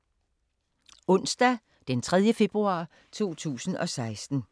Onsdag d. 3. februar 2016